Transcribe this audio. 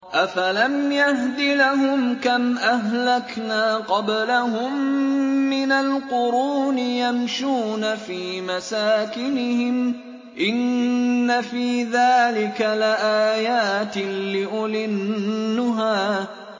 أَفَلَمْ يَهْدِ لَهُمْ كَمْ أَهْلَكْنَا قَبْلَهُم مِّنَ الْقُرُونِ يَمْشُونَ فِي مَسَاكِنِهِمْ ۗ إِنَّ فِي ذَٰلِكَ لَآيَاتٍ لِّأُولِي النُّهَىٰ